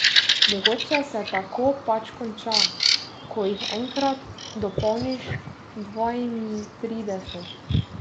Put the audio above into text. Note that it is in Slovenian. Mogoče se tako pač konča, ko jih enkrat dopolniš dvaintrideset.